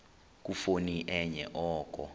khuphoni enye oko